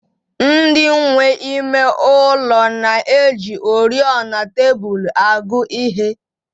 Ndị nwe ime ụlọ na-eji oriọna tebụl agụ ihe